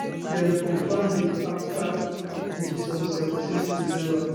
dem confam dis afta meetings on seventeendecember